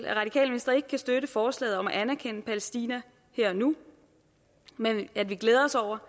at radikale venstre ikke kan støtte forslaget om at anerkende palæstina her og nu men at vi glæder os over